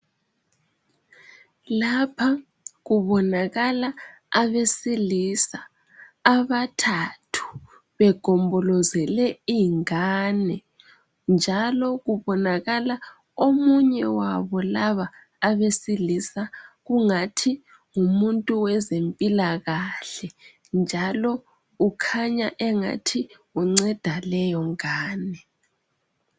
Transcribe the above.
Lapha kubonakala abesilisa abathathu begombolozele ingane, njalo kubonakala omunye wabo labo abesilisa kungathi ngumuntu wezempilakahle, njalo ukhanya engathi unceda leyo ngane.